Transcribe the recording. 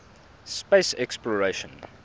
space exploration